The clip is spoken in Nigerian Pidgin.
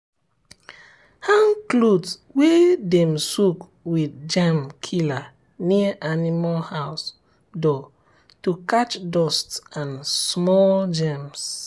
hang cloth wey dem soak with germ killer near animal house door to catch dust and small germs.